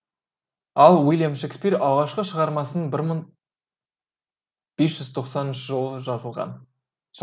ал уильям шекспир алғашқы шығармасын бір мың бес жүз тоқсаныншы жылы жазған